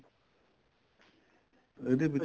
ਇਹਦੇ ਵਿੱਚ